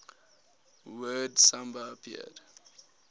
word samba appeared